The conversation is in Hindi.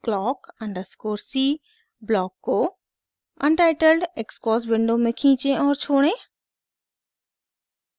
clock अंडरस्कोर c ब्लॉक को untitled xcos विंडो में खींचें और छोड़ें